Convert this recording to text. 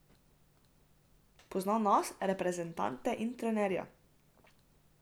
Pozna nas, reprezentante in trenerje.